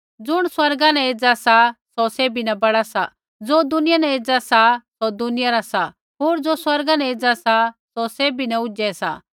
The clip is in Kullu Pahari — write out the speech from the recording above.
ज़ुण स्वर्गा न एज़ा सा सौ सैभी न बड़ा सा ज़ो दुनिया न एज़ा सा सौ दुनिया रा सा होर ज़ो स्वर्गा न एज़ा सा सौ सैभी न ऊझै सा